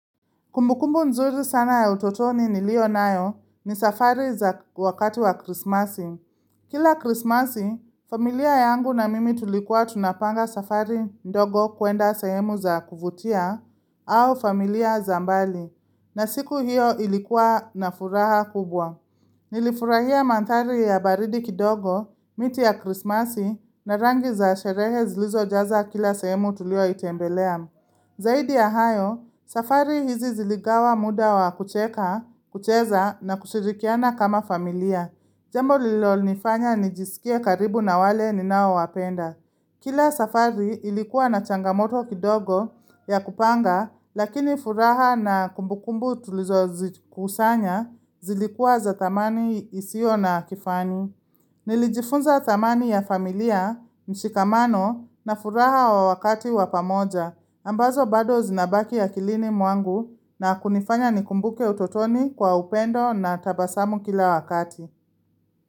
Kumbukumbu nzuri sana ya utotoni ni lio nayo ni safari za wakati wa krismasi. Kila krismasi, familia yangu na mimi tulikuwa tunapanga safari ndogo kuenda sehemu za kuvutia au familia zambali na siku hiyo ilikuwa na furaha kubwa. Nilifurahia mandhari ya baridi kidogo, miti ya krismasi na rangi za sherehe zilizo jaza kila sehemu tulio itembelea. Zaidi ya hayo, safari hizi ziligawa muda wa kucheka, kucheza na kushirikiana kama familia. Jambo lilo nifanya nijisikie karibu na wale ninao wapenda. Kila safari ilikuwa na changamoto kidogo ya kupanga, lakini furaha na kumbukumbu tulizo kusanya zilikuwa za thamani isio na kifani. Nilijifunza thamani ya familia, mshikamano na furaha wa wakati wapamoja ambazo bado zinabaki akilini mwangu na kunifanya nikumbuke utotoni kwa upendo na tabasamu kila wakati.